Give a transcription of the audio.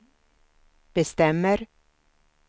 bestämmer